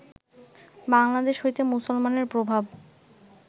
বাংলাদেশ হইতে মুসলমানের প্রভাব